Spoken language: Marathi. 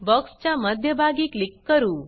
बॉक्स च्या मध्ये भागी क्लिक करू